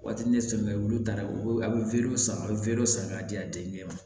Waati ne sɔmi bɛ olu ta la u bɛ a bɛ weele sama a bɛ weele san k'a di a den ma